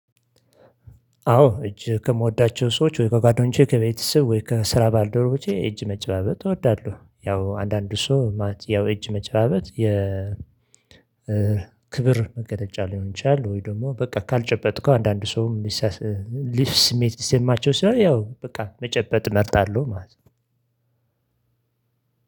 አዎ እጅ ከምወዳቸው ሰዎች ወይ? ከጓደኞቼ ከቤትስብ ወይ? ከስራ ባልዶሮቼ እጅ መጨባበብ እወዳለሁ። ያው አንዳንድ ሰው ማለት ያው እጅ መጨባበጥ የ ክብር መገለጫ ሊሆን ይችላል ወይ? ደግሞ በቃ ካልጨበጥኩ አንዳንድ ሰውም ስሜት ሲሰማቸው ሲሆን ያው በቃ መጨበጥ እመርጣለሁ ማለት ነው።